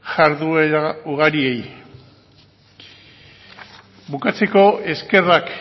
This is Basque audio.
jarduera ugari bukatzeko eskerrak